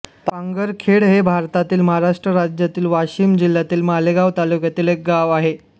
पांगरखेड हे भारतातील महाराष्ट्र राज्यातील वाशिम जिल्ह्यातील मालेगाव तालुक्यातील एक गाव आहे